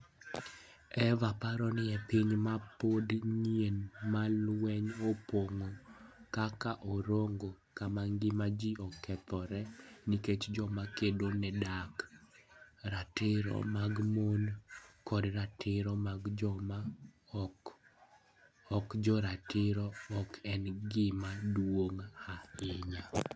Eva paro ni e piny ma pod nyien ma lweny opong'o, kaka Orongo, kama ngima ji okethore nikech joma kedo ne dak, ratiro mag mon koda ratiro mag joma ok jo ratiro ok en gima duong' ahinya.